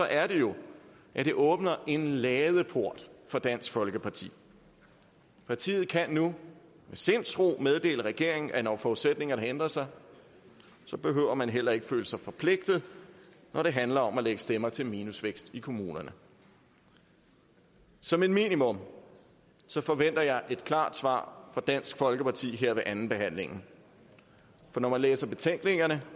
er det jo at det åbner en ladeport for dansk folkeparti partiet kan nu med sindsro meddele regeringen at når forudsætningerne ændrer sig behøver man heller ikke føle sig forpligtet når det handler om at lægge stemmer til minusvækst i kommunerne som et minimum forventer jeg et klart svar fra dansk folkeparti her ved andenbehandlingen for når man læser betænkningerne